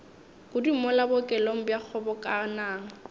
kudu mola bookelong bja kgobokanang